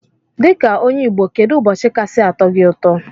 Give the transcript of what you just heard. Dika onye igbo kedu ụbọchi kasi atọ gi ụtọ?